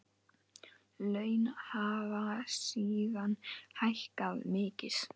Laun hafa síðan hækkað mikið.